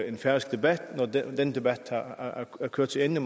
en færøsk debat når den debat er kørt til ende